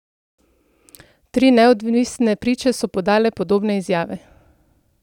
Tri neodvisne priče so podale podobne izjave.